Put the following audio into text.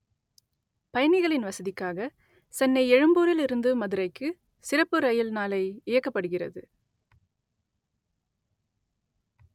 பய‌ணிக‌ளி‌ன் வச‌தி‌க்காக செ‌ன்னை எழு‌ம்பூ‌ரி‌ல் இரு‌ந்து மதுரை‌க்கு ‌சிற‌ப்பு ர‌யி‌ல் நாளை இய‌க்க‌ப்படு‌கிறது